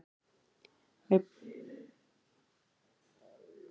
Við biðum ekki einu sinni til að vinka bless þegar hún væri sest í kádiljákinn.